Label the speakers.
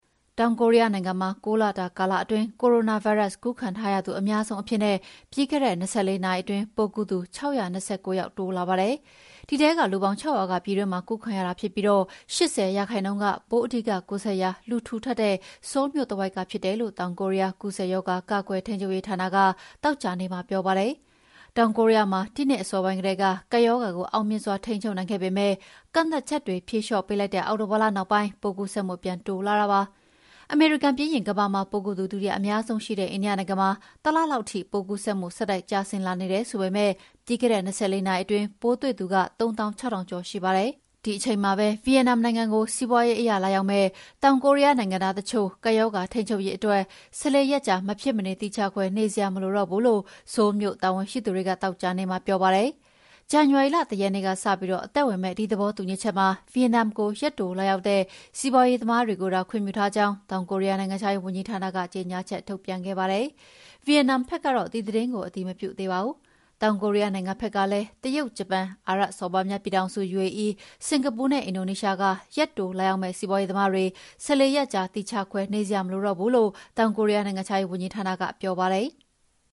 Speaker 1: တောင်ကိုရီးယားနိုင်ငံမှာ ၉ လတာကာလအတွင်း ကိုရိုနာဗိုင်းရပ်စ် ကူးခံရသူအများဆုံးအဖြစ်နဲ့ ပြီးခဲ့တဲ့၂၄ နာရီအတွင်း ပိုးကူးသူ ၆၂၉ ယောက်တိုးလာပါတယ်။ ဒီထဲကလူပေါင်း ၆ ရာက ပြည်တွင်းမှာကူးခံရတာဖြစ်ပြီး ၈၀% က ပိုး အဓိကကူးစက်ရာ လူထူထပ်တဲ့ ဆိုးလ်မြို့တဝိုက်ကဖြစ်တယ်လို့ တောင်ကိုရီးယား ကူးစက်ရောဂါ ကာကွယ်ထိန်းချုပ်ရေးဌာနက သောကြာနေ့မှာ ပြောပါတယ်။ တောင်ကိုရီးယားမှာ ဒီနှစ်အစောပိုင်းကတည်းက ကပ်ရောဂါကိုအောင်မြင်စွာ ထိန်းချုပ်နိုင်ခဲ့ပေမယ့် ကန့်သတ်ချက်တွေဖြေလေ ျှာ့ပေးလိုက်တဲ့ အောက်တိုလာလနောက်ပိုင်း ပိုးကူးစက်မှုပြန်တိုးလာတာဖြစ်ပါတယ်။ အမေရိကန်ပြီးရင် ကမ္ဘာမှာပိုးကူးသူ ဒုတိယအများဆုံးရှိတဲ့ အိန္ဒိယနိုင်ငံမှာ တလလောက်ထိ ပိုးကူးစက်မှု ဆက်တိုက်ကျဆင်းလာနေတယ်ဆိုပေမယ့် ပြီးခဲ့တဲ့၂၄ နာရီအတွင်းပိုးတွေ့သူ ၃၆,၀၀၀ ကျော်ရှိပါတယ်။ ဒီအချိန်မှာပဲ ဗီယက်နမ်နိုင်ငံကို စီးပွါးရေးအရလာရောက်မယ့် တောင်ကိုးရီးယားနိုင်ငံသားတချို့ ကပ်ရောဂါထိန်းချုပ်ရေးအတွက် ၁၄ ရက်ကြာ မဖြစ်မနေသီးခြားခွဲနေစရာမလိုတော့ဘူးလို့ ဆိုးလ်မြိုကတာဝန်ရှိသူတွေကသောကြာနေ့မှာပြောပါတယ်။ ဇန်နဝါရီလ ၁ ရက်နေ့ကစပြီး အသက်ဝင်မယ့် ဒီသဘောတူညီချက်မှာ ဗီယက်နမ်ကို ရက်တိုလာရောက်တဲ့ စီးပါွးရေးသမားတွေကိုသာခွင့်ပြုထားကြောင်း တောင်ကိုရီးယားနိုင်ငံခြားရေးဝန်ကြီးဌာနက ကြေငြာချက်ထုတ်ပြန်ခဲ့ပါတယ်။ ဗီယက်နမ်ဘက်ကတော့ ဒီသတင်းကို အတည်မပြုသေးပါဘူး။ တောင်ကိုရီးယားနိုင်ငံဘက်ကလည်း တရုတ်၊ ဂျပန်၊ အာရပ်စော်ဘွားများပြည်ထောင်စု UAE၊ စင်္ကာပူနဲ့ အင်ဒိုနီးရှားက ရက်တိုလာရောက်မယ့် စီးပွါးရေးသမားတွေ ၁၄ ရက်ကြာ သီးခြားခွဲနေစရာမလိုတော့ဘူးလို့ တောင်ကိုရီးယားနိုင်ငံခြားရေးဝန်ကြီးဌာနကပြောပါတယ်။